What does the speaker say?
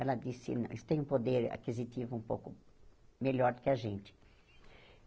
Ela disse,, eles tem um poder aquisitivo um pouco melhor do que a gente.